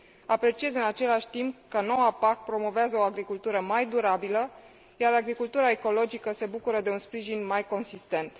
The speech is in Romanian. Apreciez, în același timp, că noua PAC promovează o agricultură mai durabilă, iar agricultura ecologică se bucură de un sprijin mai consistent.